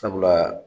Sabula